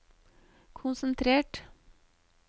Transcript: konsentrert